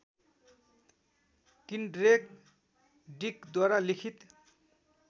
किन्ड्रेक डिकद्वारा लिखित